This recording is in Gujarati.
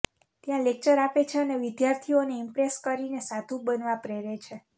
ત્યાં લેક્ચર આપે છે અને વિદ્યાર્થીઓને ઈમ્પ્રેસ કરીને સાધુ બનવા પ્રેરે છે